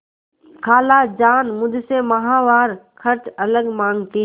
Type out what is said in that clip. खालाजान मुझसे माहवार खर्च अलग माँगती हैं